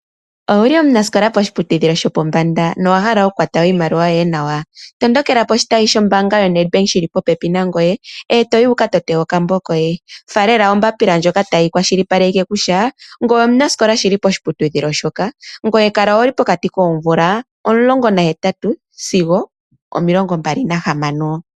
Owuli omunasikola poshiputudhilo shopombanda nowa hala okukwata iimaliwa yoye nawa? Tondokela poshitayi shombaanga yaNedbank shi li popepi nangoye, eto yi wu ka tote okambo koye. Faalela ombapila ndjoka tayi kwashilipaleke kutya ngoye omunasikola shili poshiputudhilo shoka, ngweye kala wu li pokati koomvula omulongo nahetatu sigo omilongo mbali nahamano.